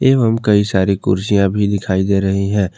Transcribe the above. एवं कई सारी कुर्सियां भी दिखाई दे रही हैं।